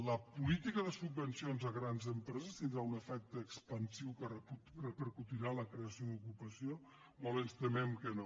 la política de subvencions a grans empreses tindrà un efecte expansiu que repercutirà en la creació d’ocupació molt ens temem que no